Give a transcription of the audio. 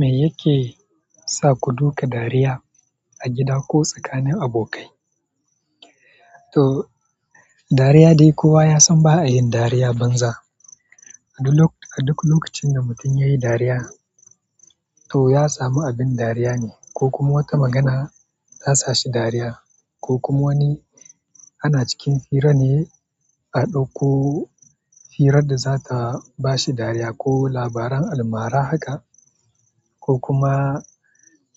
Me yake sa ku duka dariya a gida ko tsakanin abokai? To, dariya dai, kowa yasan ba'ayin dariya banza a duk lokacin da mutum ya yi dariya, to ya samu abin dariya ne ko kuma wata magana ta sa shi dariya ko kuma wani ana cikin fira ne a ɗauko firar da za ta ba shi dariya ko labaran almara haka ko kuma